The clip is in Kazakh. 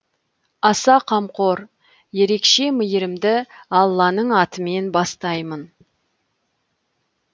аса қамқор ерекше мейірімді алланың атыман бастаймын